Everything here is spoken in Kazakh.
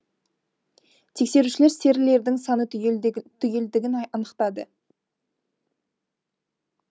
тексерушілер серілердің саны түгелдігін анықтады